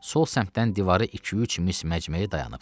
Sol səmtdən divarı iki-üç mis məcməyi dayanıbdı.